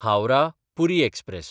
हावराह–पुरी express